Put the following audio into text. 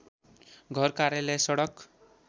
घर कार्यालय सडक